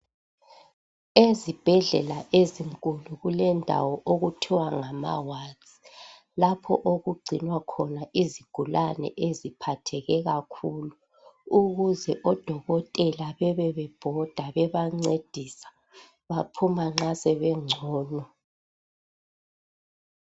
Ezibhedlela ezinkulu kulendawo okuthwa ngamawadi, lapho okugcinwa khona izigulane eziphatheke kakhulu, ukuze odokotela bebe bebhoda bebancedisa, baphuma nxa sebengcono.